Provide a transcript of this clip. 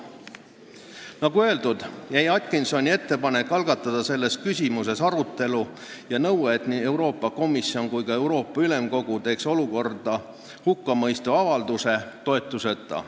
Nagu öeldud, jäi Atkinsoni ettepanek algatada selles küsimuses arutelu ja nõue, et nii Euroopa Komisjon kui ka Euroopa Ülemkogu teeks olukorda hukka mõistva avalduse, toetuseta.